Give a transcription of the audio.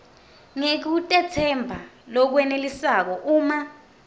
ngekutetsemba lokwenelisako uma